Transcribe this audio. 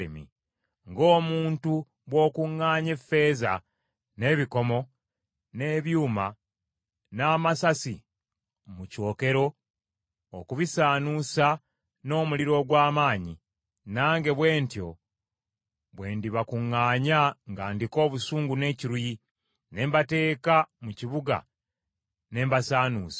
Ng’omuntu bw’okuŋŋaanya effeeza, n’ebikomo, n’ebyuma, n’amasasi mu kyokero okubisaanuusa n’omuliro ogw’amaanyi, nange bwe ntyo bwe ndibakuŋŋaanya nga ndiko obusungu n’ekiruyi, ne mbateeka mu kibuga ne mbasaanuusa.